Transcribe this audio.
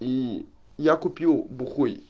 и я купил бухой